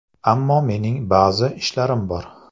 Ammo mening ba’zi ishlarim bor.